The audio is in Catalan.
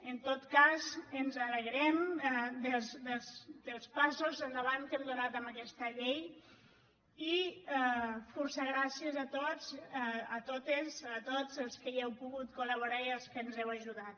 en tot cas ens alegrem dels passos endavant que hem donat amb aquesta llei i fòrça gràcies a tots a totes els que hi heu pogut col·laborar i als que ens heu ajudat